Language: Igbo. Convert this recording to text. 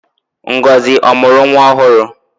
Ngozi ọ mụrụ nwa ọhụrụ?